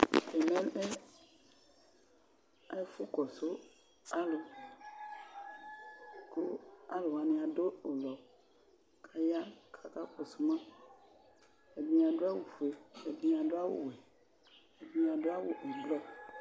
Ɛmɛ lɛ ɛfʋkɔsʋ alʋ kʋ alʋ wanɩ adʋ ʋblʋ kʋ aya kʋ akakɔsʋ ma, ɛdɩnɩ adʋ awʋfue, ɛdɩnɩ adʋ awʋwɛ, ɛdɩnɩ adʋ awʋ ɛblɔ